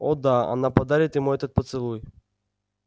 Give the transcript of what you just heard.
о да она подарит ему этот поцелуй